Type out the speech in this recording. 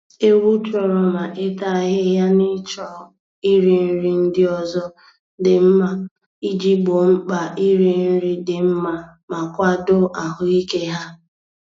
Ewu chọrọ ma ịta ahịhịa na ịchọ iri nri ndi ọzọ dị mma iji gboo mkpa iri nri dị mma ma kwado ahụike ha.